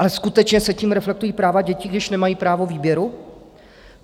Ale skutečně se tím reflektují práva dětí, když nemají právo výběru?